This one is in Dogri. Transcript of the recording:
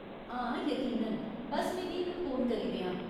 हां यकीनन ! बस्स मिगी इक फोन करी देआं।